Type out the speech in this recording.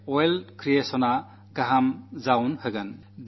മാലിന്യത്തിൽ നിന്ന് ധനസമ്പാദനത്തിൽ വിജയമുണ്ടാക്കാം